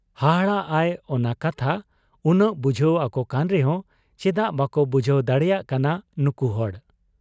ᱦᱟᱦᱟᱲᱟᱜ ᱟᱭ ᱚᱱᱟ ᱠᱟᱛᱷᱟ ᱩᱱᱟᱹᱜ ᱵᱩᱡᱷᱟᱹᱣ ᱟᱠᱚᱠᱟᱱ ᱨᱮᱦᱚᱸ ᱪᱮᱫᱟᱜ ᱵᱟᱠᱚ ᱵᱩᱡᱷᱟᱹᱣ ᱫᱟᱲᱮᱭᱟᱜ ᱠᱟᱱᱟ ᱱᱩᱠᱩ ᱦᱚᱲ ᱾